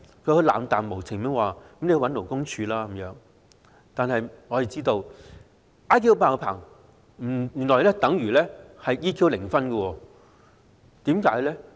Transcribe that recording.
他冷漠無情地叫她向勞工處求助，令我們知道他 "IQ 爆棚"，但原來 "EQ 零分"，為甚麼？